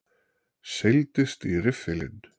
Seildist í riffilinn.